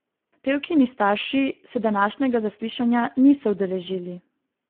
Pevkini starši se današnjega zaslišanja niso udeležili.